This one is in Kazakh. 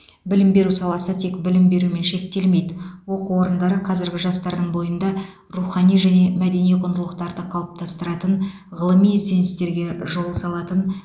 білім беру саласы тек білім берумен шектелмейді оқу орындары қазіргі жастардың бойында рухани және мәдени құндылықтарды қалыптастыратын ғылыми ізденістерге жол салатын